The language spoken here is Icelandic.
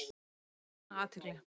Ánægð með aukna athygli